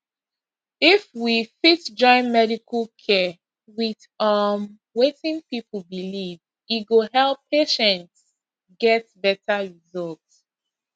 if we fit join medical care with um wetin people believe e go help patients get better result